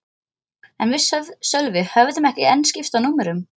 En við Sölvi höfðum ekki enn skipst á númerum.